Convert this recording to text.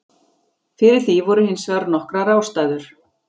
Fyrir því voru hins vegar nokkrar ástæður.